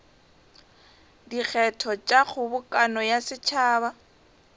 dikgetho tša kgobokano ya setšhaba